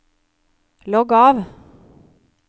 logg av